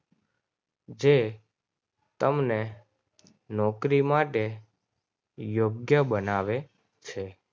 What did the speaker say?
જે તમને નોકરી માટે યોગ્ય બનાવે છે.